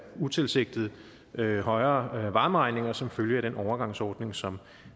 utilsigtede højere varmeregninger som følge af den overgangsordning som